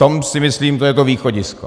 To si myslím, že je to východisko.